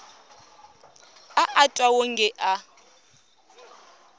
a a twa wonge a